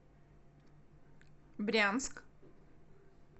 брянск